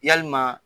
Yalima